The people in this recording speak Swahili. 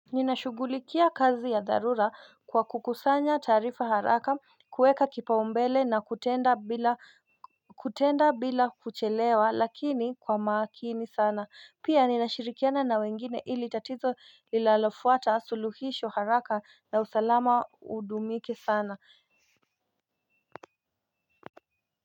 Ninashugulikia kazi ya dharura kwa kukusanya tarifa haraka kueka kipaumbele na kutenda bila kuchelewa lakini kwa makini sana pia ninashirikiana na wengine ili tatizo lilalofuata suluhisho haraka na usalama udumike sana.